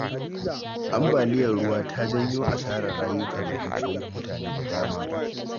Ambaliyar ruwa ta janyo asarar rayuka da dukiyoyin mutane da dama